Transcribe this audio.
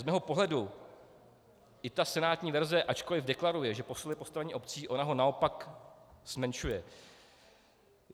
Z mého pohledu i ta senátní verze, ačkoliv deklaruje, že posiluje postavení obcí, ona ho naopak zmenšuje.